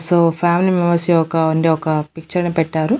So family members యొక్క అంటే ఒక పిక్చర్ ని పెట్టారు.